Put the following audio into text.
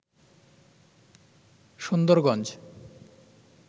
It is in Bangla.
সুন্দরগঞ্জ